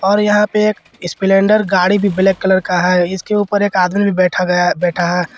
और यहां पे एक स्प्लेंडर गाड़ी भी ब्लैक कलर का है इसके ऊपर एक आदमी बैठ गया बैठा है।